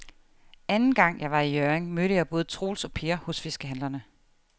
Anden gang jeg var i Hjørring, mødte jeg både Troels og Per hos fiskehandlerne.